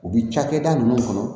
U bi cakɛda nunnu kɔnɔ